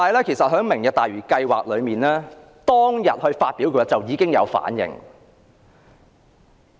其實，市民在"明日大嶼"計劃公布當天已作出反應。